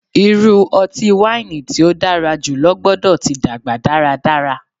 Iru ọti-waini ti o dara julọ gbọdọ ti dagba daradara